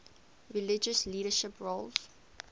religious leadership roles